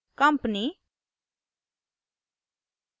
company